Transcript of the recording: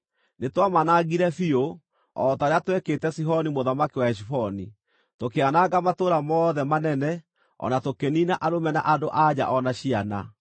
Nĩtwamanangire biũ, o ta ũrĩa twekĩte Sihoni mũthamaki wa Heshiboni, tũkĩananga matũũra mothe manene, o na tũkĩniina arũme na andũ-a-nja o na ciana.